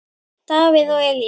Davíð og Elín.